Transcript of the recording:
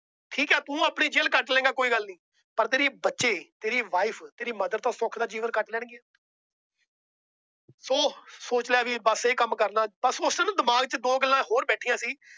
ਠੀਕ ਏ ਤੂੰ ਆਪਣੀ ਜੇਲ ਕੱਟ ਲਾਇੰਗਾ ਕੋਈ ਗੱਲ ਨਹੀਂ। ਪਰ ਤੇਰੇ ਬੱਚੇ, ਤੇਰੀ Wife, ਤੇਰੀ Mother ਤਾਂ ਸੁੱਖ ਦਾ ਜੀਵਨ ਕੱਟ ਲੈਣ ਗਿਆ ਚਲੋ ਸੋਚ ਲਿਆ ਵੀ ਇਹ ਕੰਮ ਕਰਨਾ। ਉਸ ਦਿਨ ਨਾ ਦਿਮਾਗ ਚ ਹੋਰ ਦੋ ਗੱਲਾਂ ਬੈਠੀਆਂ ਸੀ।